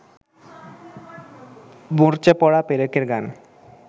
মরচেপড়া পেরেকের গান